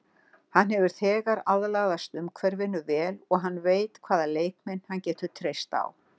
Hann hefur þegar aðlagast umhverfinu vel og hann veit hvaða leikmenn hann getur treyst á.